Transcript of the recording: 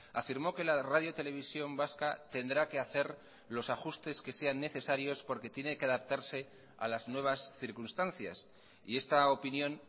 afirmó que la radiotelevisión vasca tendrá que hacer los ajustes que sean necesarios porque tiene que adaptarse a las nuevas circunstancias y esta opinión